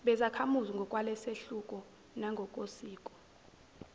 bezakhamuzi ngokwalesahluko nangokosiko